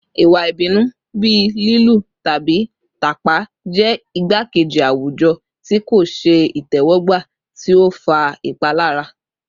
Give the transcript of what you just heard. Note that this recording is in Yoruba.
Iwa ibinu bii lilu tabi tapa jẹ igbakeji awujọ ti ko ṣe itẹwọgba ti o fa ipalara